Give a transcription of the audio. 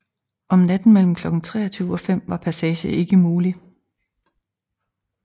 Om natten mellem klokken 23 og 5 var passage ikke mulig